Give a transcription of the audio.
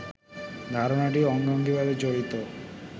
ধারণাটি অঙ্গাঙ্গীভাবে জড়িত